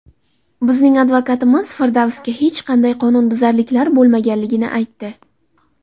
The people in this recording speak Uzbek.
Bizning advokatimiz Firdavsda hech qanday qonunbuzarliklar bo‘lmaganligini aytdi.